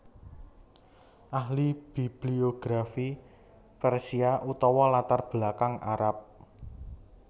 Ahli bibliografi Persia utawa latar belakang Arab